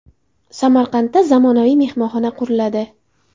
Samarqandda zamonaviy mehmonxona quriladi.